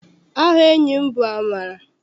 Aha enyi m bụ Amara.